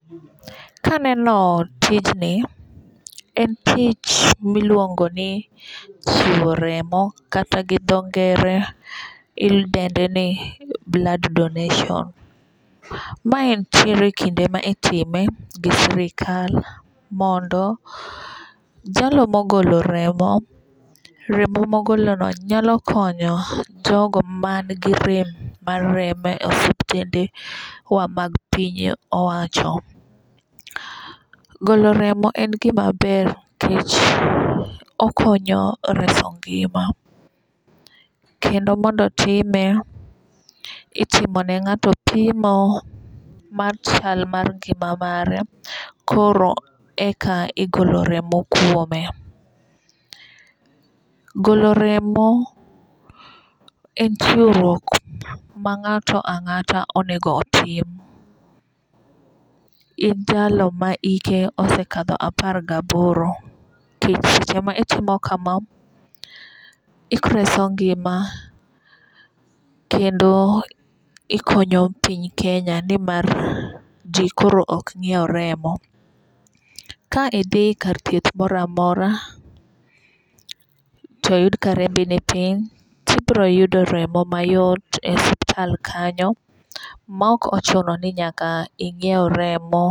Ka aneno tijni to en tich ma iluongo ni chiwo remo kata gi dho ngere idende ni blood donation. Mae nitiere kinde ma itime gi sirikal mondo jalo mogolo remo, remo mogolono nyalo konyo jogo manigi rem mar remo e osiptendewa mag piny owacho. Golo remo en gima ber nikech okonyo reso ngima , kendo mondo otime , itimo ne ng'ato pimo mar chal mar ngima mare koro eka igolo remo kuome. Golo remo en chiwruok ma ng'ato ang'ata onego otim in jalo ma ike osekadho apar gi aboro. Nikech e seche ma itimo kama, ireso ngima kendo ikonyo piny kenya ni mar ji koro ok nyiew remo. Ka idhi e kar thieth moro amora to oyud ka rembi ni piny, to ibiro yudo remo mayot e hospital kanyo ma ok ochuno ni nyaka ing'iew remo.